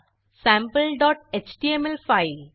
sample dot HTML file